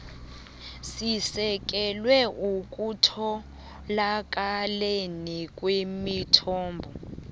sisekelwe ekutholakaleni kwemithombo